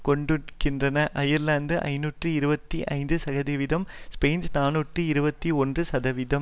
கொடுக்கின்றன அயர்லாந்து ஐநூற்று இருபத்தி ஐந்து சதவிதம் ஸ்பெயின் நாநூற்று இருபத்தி ஒன்று சதவிதம்